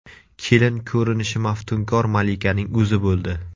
Kelin ko‘rinishi maftunkor malikaning o‘zi bo‘ldi.